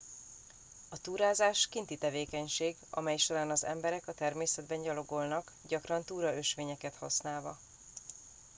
a túrázás kinti tevékenység amely során az emberek a természetben gyalogolnak gyakran túraösvényeket használva